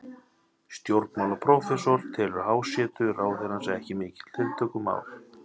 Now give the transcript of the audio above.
Stjórnmálafræðiprófessor telur hjásetu ráðherrans ekki mikið tiltökumál.